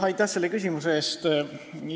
Aitäh selle küsimuse eest!